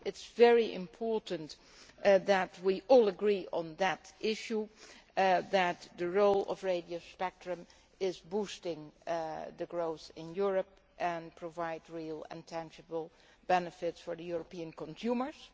It is very important that we all agree on that issue that the role of radio spectrum boosts growth in Europe and provides real and tangible benefits for European consumers